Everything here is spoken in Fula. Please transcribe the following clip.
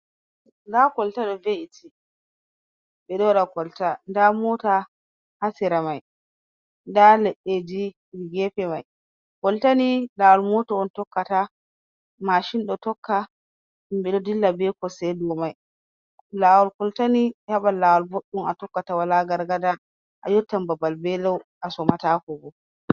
Nda kolta ɗo ve'iti, ɓe ɗo waɗa koltaya. Nda mota ha sera mai. Nda leɗɗeji gefe mai. Koltani lawal mota on tokkata, mashin ɗo tokka, himɓe ɗo dilla be kosɗe dou mai. Lawol koltani habal lawal boɗɗum a tokkata wala gargada, a yottan babal be lau, a somatako bo.